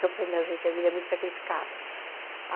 Eu falei, não gente, a vida é muito sacrificada.